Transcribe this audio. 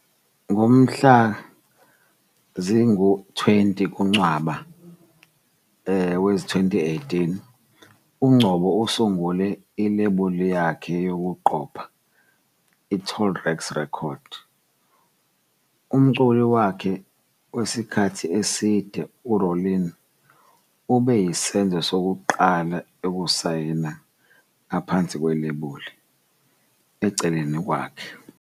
Ngomhla zingama-20 kuNcwaba wezi-2018, uNgcobo usungule ilebuli yakhe yokuqopha, iTall Racks Records. Umculi wakhe wesikhathi eside u-Rowlene ube yisenzo sokuqala ukusayina ngaphansi kwelebula, eceleni kwakhe.